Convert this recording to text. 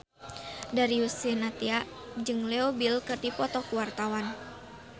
Darius Sinathrya jeung Leo Bill keur dipoto ku wartawan